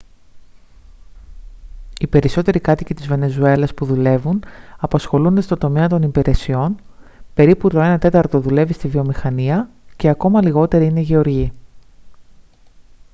οι περισσότεροι κάτοικοι της βενεζουέλας που δουλεύουν απασχολούνται στον τομέα των υπηρεσιών περίπου το ένα τέταρτο δουλεύει στη βιομηχανία και ακόμα λιγότεροι είναι γεωργοί